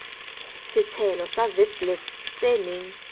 setshelo sa witblits se neng